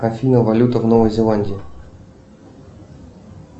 афина валюта в новой зеландии